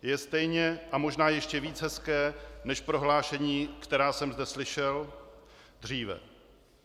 Je stejně a možná ještě víc hezké než prohlášení, která jsem zde slyšel dříve.